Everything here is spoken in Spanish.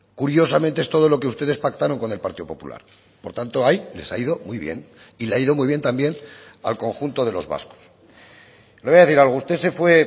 curiosamente es todo lo que ustedes pactaron con el partido popular por tanto ahí les ha ido muy bien y le ha ido muy bien también al conjunto de los vascos le voy a decir algo usted se fue